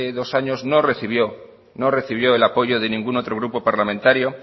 dos años no recibió el apoyo de ningún otro grupo parlamentario